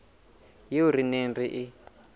eo re neng re e